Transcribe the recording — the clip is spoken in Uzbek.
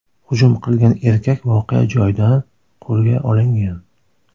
Hujum qilgan erkak voqea joyida qo‘lga olingan.